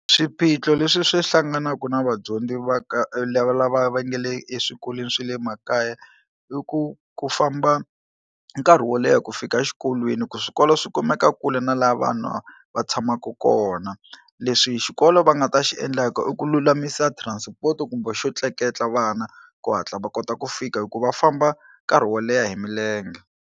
Swiphiqo leswi swi hlanganaku na vadyondzi va ka lava lava va nga le eswikolweni swe le makaya i ku ku famba nkarhi wo leha ku fika exikolweni ku swikolo swi kumeka kule na la vanhu va tshamaku kona, leswi xikolo va nga ta xi endlaka i ku lulamisa transport-o kumbe xo tleketla vana ku hatla va kota ku fika hikuva famba nkarhi wo leha hi milenge.